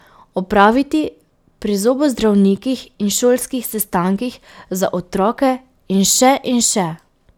Opraviti pri zobozdravnikih in šolskih sestankih za otroke in še in še.